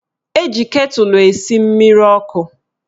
Eji ketụlụ esi mmiri ọkụ